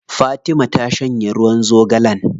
Fatima ta shanye ruwan zogalen.